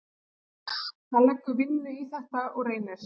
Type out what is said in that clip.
Hann leggur vinnu í þetta og reynir.